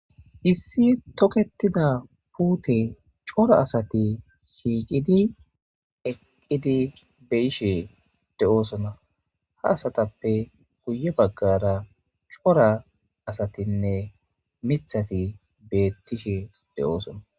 issi toketida puute cora asati shiiqidi eqqidi beyishe de7oosona ha asatappe huye baggara cora asatinne mithati bettishe de7oosona